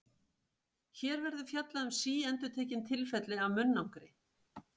Hér verður fjallað um síendurtekin tilfelli af munnangri.